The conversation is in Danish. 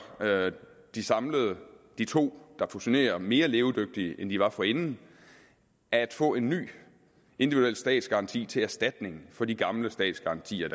de to der fusionerer mere levedygtige end de var forinden at få en ny individuel statsgaranti til erstatning for de gamle statsgarantier